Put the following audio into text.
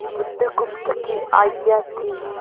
बुधगुप्त की आज्ञा थी